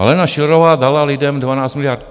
Alena Schillerová dala lidem 12 miliard?